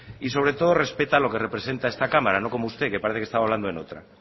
y sobre todo respeta lo que representa esta cámara no como usted que parece que estaba hablando en otra